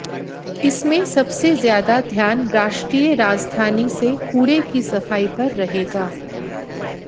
इसमें सबसे ज्यादा ध्यान राष्ट्रीय राजधानी से कूड़े की सफाई पर रहेगा